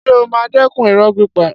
Ṣé ó máa dẹ́kun irọ́ pípa?